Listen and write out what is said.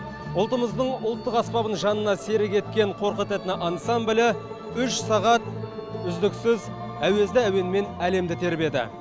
ұлтымыздың ұлттық аспабын жанына серік еткен қорқыт этно ансамблі үш сағат үздіксіз әуезді әуенмен әлемді тербеді